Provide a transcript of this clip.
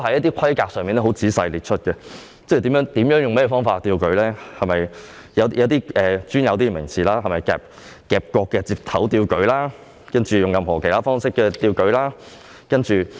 當中亦仔細列出了一些規格，包括用甚麼方法舉吊，也用上了一些比較專有的名詞如從夾角接頭舉吊或藉任何其他附加方法舉吊。